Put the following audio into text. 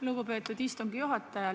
Lugupeetud istungi juhataja!